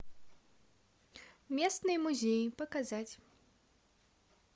местные музеи показать